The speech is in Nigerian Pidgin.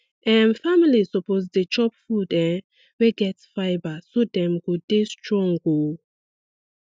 um families suppose dey chop food um wey get fibre so dem go dey strong um